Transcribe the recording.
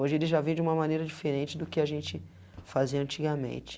Hoje ele já vem de uma maneira diferente do que a gente fazia antigamente.